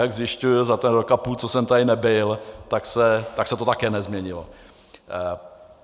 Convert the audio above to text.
Jak zjišťuji, za ten rok a půl, co jsem tady nebyl, tak se to také nezměnilo.